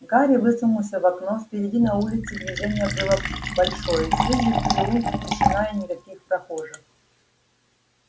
гарри высунулся в окно впереди на улице движение было большое здесь же в переулке тишина и никаких прохожих